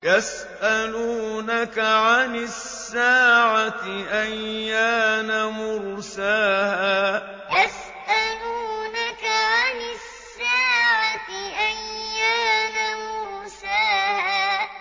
يَسْأَلُونَكَ عَنِ السَّاعَةِ أَيَّانَ مُرْسَاهَا يَسْأَلُونَكَ عَنِ السَّاعَةِ أَيَّانَ مُرْسَاهَا